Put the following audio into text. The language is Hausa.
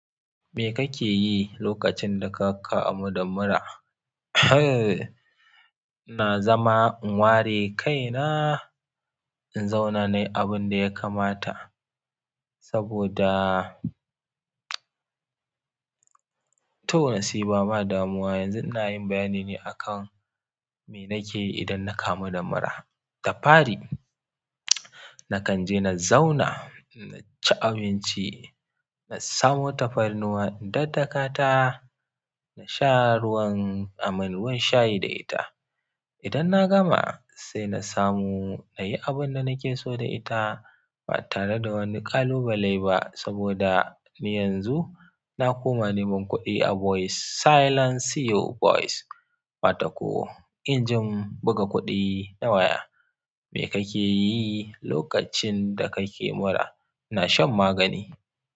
Me kake yi lokacin da ka kamu da mura? Na zama in ware kaina, in zauna ne abin da ya kamata. Saboda toh na siɓa ma damuwa. Yanzu ina yin bayanin ne akan me nake yi idan na kamu da mura. Tafari, na kan je na zauna, na ci abinci, na samu tafarnuwa, daddakata, na sha ruwan aman, ruwan shayi da ita. Idan na gama, sai na samu na yi abin da nake so da ita ba tare da wani kalubalai ba saboda ni yanzu na koma neman kuɗi a voice, silent CEO voice wata ko injin buga kuɗi na waya. Me kake yi lokacin da kake mura? Na shan magani.